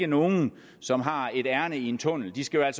nogen som har et ærinde i en tunnel skal